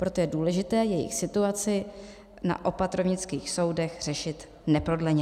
Proto je důležité jejich situaci na opatrovnických soudech řešit neprodleně.